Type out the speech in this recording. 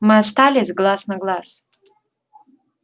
мы остались глаз на глаз